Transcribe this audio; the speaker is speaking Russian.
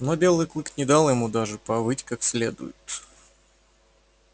но белый клык не дал ему даже повыть как следует